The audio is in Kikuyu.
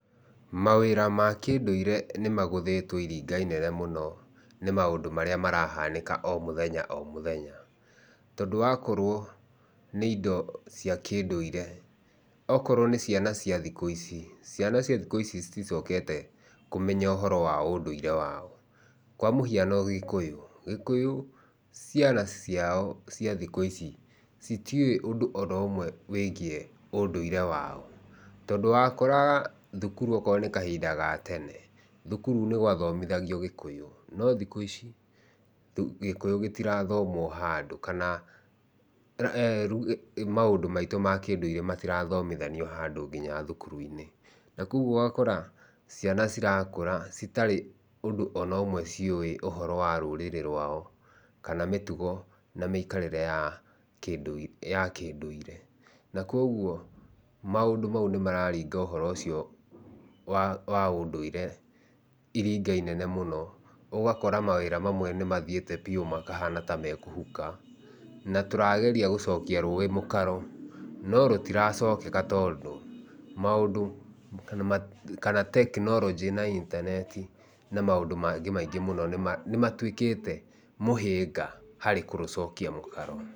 Mawĩra ma kĩndũire nĩ magũthĩtwo iringa inene mũno nĩ maũndũ marĩa marahanĩka o mũthenya o mũthenya. Tondũ wakorwo nĩ indo cia kĩndũire, okorwo nĩ ciana cia thikũ ici, ciana cia thikũ ici citicokete kũmenya ũhoro wa ũndũrie wao. Kwa mũhiano Gĩkũyũ. Gĩkũyũ ciana ciao cia thikũ ici citiũĩ ũndũ ona ũmwe wĩgiĩ ũndũire wao. Tondũ wakoraga thukuru okorwo nĩ kahinda ga tene, thukuru nĩ gwathomithagio Gĩkũyũ. No thikũ ici, Gĩkũyũ gĩtirathomwo handũ. Kana eeh maũndũ maitũ ma kĩndũire matirathomithanio handũ nginya thukuru-inĩ. Na kũguo ũgakora, ciana cirakũra citarĩ ũndũ ona ũmwe ciũĩ ũhoro wa rũrĩrĩ rwao kana mĩtugo na mĩikarĩre ya ya kĩndũire. Na kũguo, maũndũ mau nĩ mararinga ũhoro ũcio wa wa ũndũire iringa inene mũno. Ũgakora mawĩra mamwe nĩ mathiĩte biũ makahana ta me kũhuka. Na tũrageria gũcokia rũĩ mũkaro no rũtiracokeka tondũ, maũndũ kana kana tekinoronjĩ na intaneti na maũndũ mangĩ maingĩ mũno nĩ nĩ matuĩkĩte mũhĩnga harĩ kũrũcokia mũkaro.